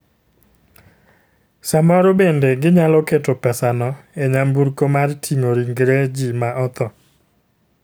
Samoro bende ginyalo keto pesano e nyamburko mar ting'o ringre ji ma otho.